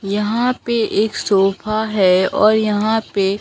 यहां पे एक सोफा है और यहां पे--